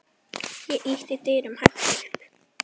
Ég ýtti dyrunum hægt upp.